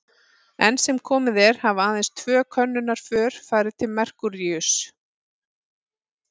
Enn sem komið er hafa aðeins tvö könnunarför farið til Merkúríuss.